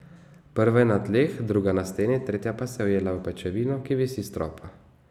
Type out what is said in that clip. Prva je na tleh, druga na steni, tretja pa se je ujela v pajčevino, ki visi s stropa.